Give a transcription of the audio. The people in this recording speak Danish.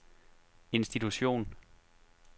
institution